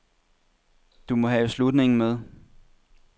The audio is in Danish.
Du må have slutningen med.